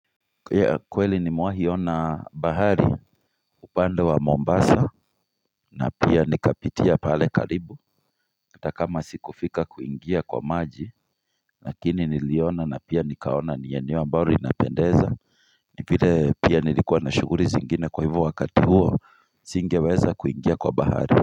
Kweli ni mewahi ona bahari upande wa Mombasa na pia nikapitia pale karibu hata kama sikufika kuingia kwa maji Lakini niliona na pia nikaona ni eneo ambalo inapendeza ni vile pia nilikuwa na shuguli zingine kwa hivo wakati huo singeweza kuingia kwa bahari.